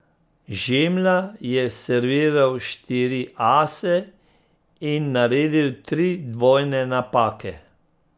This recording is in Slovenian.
Žemlja je serviral štiri ase in naredil tri dvojne napake.